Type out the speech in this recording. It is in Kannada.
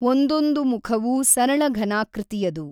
ಒಂದೊಂದು ಮುಖವೂ ಸರಳಘನಾಕೃತಿಯದು.